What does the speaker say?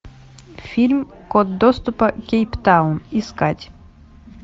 фильм код доступа кейптаун искать